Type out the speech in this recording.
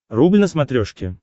рубль на смотрешке